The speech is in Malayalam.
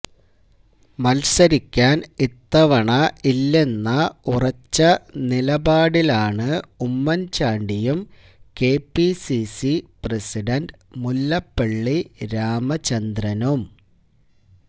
മത്സരിക്കാൻ ഇത്തവണ ഇല്ലെന്ന ഉറച്ച നിലപാടിലാണ് ഉമ്മൻചാണ്ടിയും കെപിസിസി പ്രസിഡന്റ് മുല്ലപ്പള്ളി രാമചന്ദ്രനും